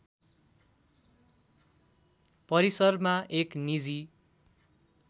परिसरमा एक निजी